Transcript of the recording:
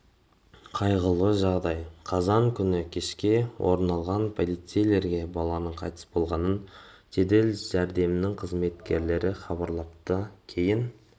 қайғылы жағдай қазан күні кешке орын алған полицейлерге баланың қайтыс болғанын жедел жәрдемнің қызметкерлері хабарлапты кейін